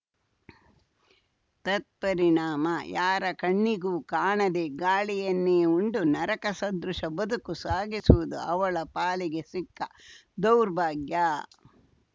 ತತ್ಪರಿಣಾಮ ಯಾರ ಕಣ್ಣಿಗೂ ಕಾಣದೇ ಗಾಳಿಯನ್ನೇ ಉಂಡು ನರಕ ಸದೃಶ ಬದುಕು ಸಾಗಿಸುವುದು ಅವಳ ಪಾಲಿಗೆ ಸಿಕ್ಕ ದೌರ್ಭಾಗ್ಯ